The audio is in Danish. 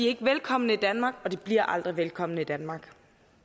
ikke velkomne i danmark og de bliver aldrig velkomne i danmark